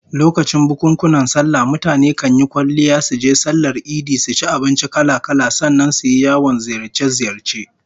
Lokacin bukunkunan sallah mutane kan yi kwalliya suje sallar idi, su ci abinci kala-kala, sannan su yi yawon ziyarce-ziyarce